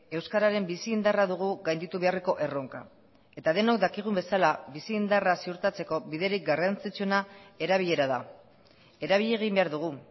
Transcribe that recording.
euskararen bizi indarra dugu gainditu beharreko erronka eta denok dakigun bezala bizi indarra ziurtatzeko biderik garrantzitsuena erabilera da erabili egin behar dugu